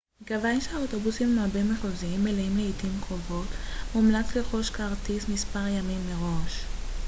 מכיוון שהאוטובוסים הבין-מחוזיים מלאים לעתים קרובות מומלץ לרכוש כרטיס מספר ימים מראש